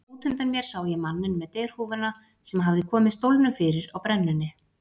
Út undan mér sá ég manninn með derhúfuna sem hafði komið stólnum fyrir á brennunni.